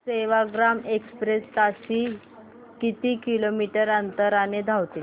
Sevagram express ताशी किती kilometre अंतराने धावते